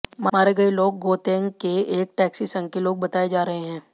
मारे गए लोग गौतेन्ग के एक टैक्सी संघ के लोग बताए जा रहे हैं